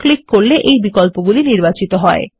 click করলে এই বিকল্পগুলি নির্বাচিত হয়